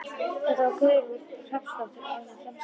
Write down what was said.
Þetta var Guðrún Rafnsdóttir og orðin framsett.